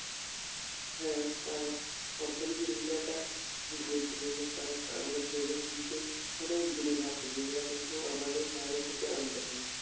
হ্যাঁ কারণ অর্থনীতির বিষয়টা গুরুত্বপূর্ণ কারণ আমাদের দেহের কিন্তু অনেক জিনিস আছে যেগুলা কিন্তু আমাদের বাইরে থেকে আনতে হয়।